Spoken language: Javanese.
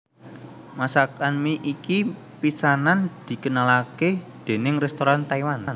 Masakan mi iki pisanan dikenalake déning restoran Taiwan